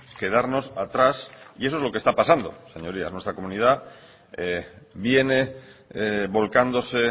quedarnos atrás y eso es lo que está pasando señorías nuestra comunidad viene volcándose